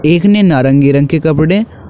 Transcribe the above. एक ने नारंगी रंग के कपड़े--